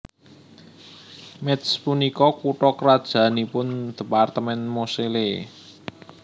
Métz punika kutha krajannipun dhépartemèn Moselle